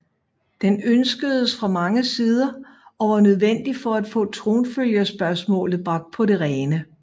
Den ønskedes fra mange sider og var nødvendig for at få tronfølgerspørgsmålet bragt på det rene